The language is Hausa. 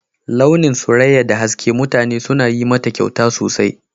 Launin Suraƴa da haske, mutane suna yin mata ƙyauta sosai.